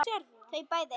Þau bæði.